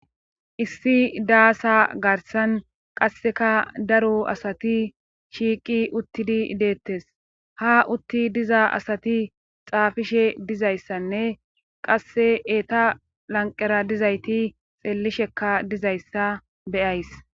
Issi daasa garssan qasseka daro asati shiiqi uttidi deettes;ha utti diza asati xaafishe dizayssanne qasse eeta laqqera dizayti xeellishekka dizayssa be7ays.